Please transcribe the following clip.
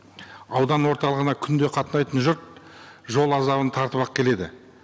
аудан орталығына күнде қатынайтын жұрт жол азабын тартып ақ келеді